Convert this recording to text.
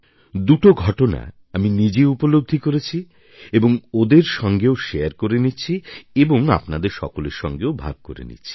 দুটো ঘটনাই আমি নিজে উপলব্ধি করেছি এবং ওদের সঙ্গেও শারে করে নিচ্ছি এবং আপনাদের সকলের সঙ্গেও ভাগ করে নিচ্ছি